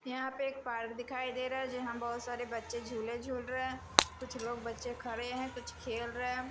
यहां पे एक पार्क दिखाई दे रहा है जहां बहुत सारे बच्चे झूले झूल रहे कुछ लोग बच्चे खड़े हैं कुछ खेल रहे--